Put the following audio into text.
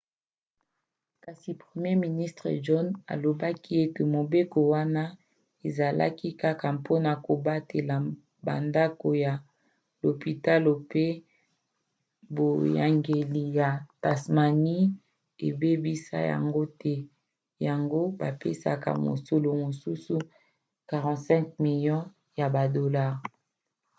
kasi premier ministre john howard alobaki ete mobeko wana ezalaki kaka mpona kobatela bandako ya lopitalo mpo boyangeli ya tasmanie ebebisa yango te yango bapesaki mosolo mosusu 45 milio ya badolare